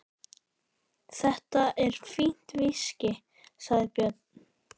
Þetta er fínt viskí, sagði Björn.